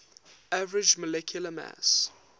average molecular mass